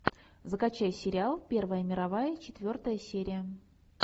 закачай сериал первая мировая четвертая серия